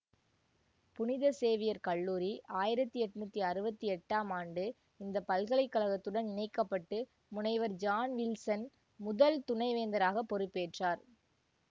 புனித சேவியர் கல்லூரி ஆயிரத்தி எண்ணூற்றி அறுபத்தி எட்டு ஆம் ஆண்டு இந்த பல்கலை கழகத்துடன் இணைக்க பட்டு முனைவர் ஜான் வில்சன் முதல் துணை வேந்தராக பொறுப்பேற்றார்